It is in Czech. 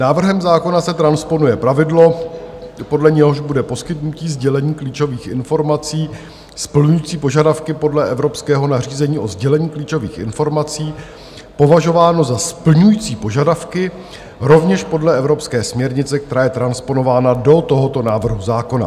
Návrhem zákona se transponuje pravidlo, podle něhož bude poskytnutí sdělení klíčových informací splňující požadavky podle evropského nařízení o sdělení klíčových informací považováno za splňující požadavky rovněž podle evropské směrnice, která je transponována do tohoto návrhu zákona.